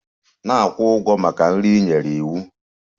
Na-akwụ ụgwọ maka nri ị nyere iwu!